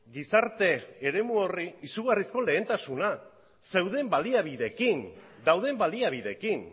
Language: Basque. gizarte eremu horri izugarrizko lehentasuna zeuden baliabideekin dauden baliabideekin